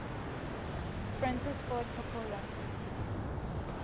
francis ford coppola